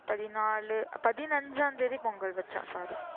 பதினாலு~ பதினஞ்சாம் தேதி பொங்கல் வச்சோம் sorry